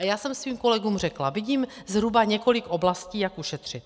A já jsem svým kolegům řekla: Vidím zhruba několik oblastí, jak ušetřit.